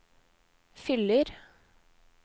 fyller